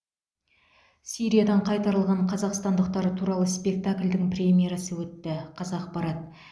сириядан қайтарылған қазақстандықтар туралы спектакльдің премьерасы өтті қазақпарат